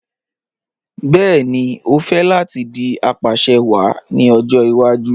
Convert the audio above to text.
Bẹẹni, o fẹ́ láti dì apàṣẹwàá ní ọjọ́ ìwàjú